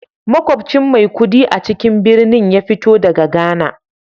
Makwabcin Maikudi a cikin birnin ya fito daga Ghana